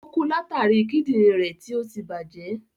Ò kú látàri Kídìnrín rẹ̀ tí ọtí tí bàjẹ́.